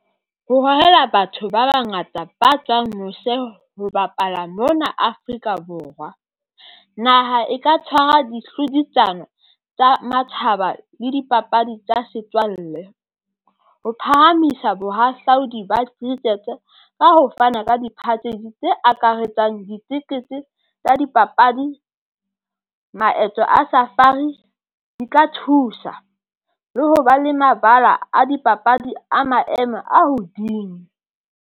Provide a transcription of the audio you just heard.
Ho hohela batho ba bangata ba tswang mose ho bapala mona Afrika Borwa, naha e ka tshwara di hlodisano tsa matshaba le dipapadi tsa setswalle. Ho phahamisa bohahlaudi ba cricket e ka ho fana ka di tse akaretsang ditikete tsa dipapadi maeto a safari di ka thusa le ho ba le mabala a dipapadi a maemo a hodimo.